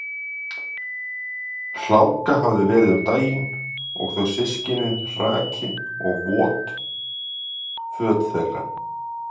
Hláka hafði verið um daginn og þau systkinin hrakin og vot föt þeirra.